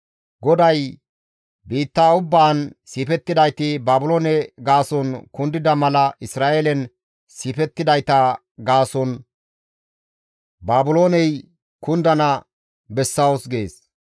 GODAY, «Biitta ubbaan siifettidayti, Baabiloone gaason kundida mala Isra7eelen siifettidayta gaason Baabilooney kundana bessawus» gees.